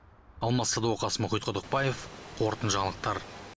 алмас садуақас мұхит құдықбаев қорытынды жаңалықтар